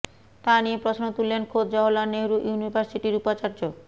তা নিয়ে প্রশ্ন তুললেন খোদ জওহরলাল নেহরু ইউনিভার্সিটির উপাচার্য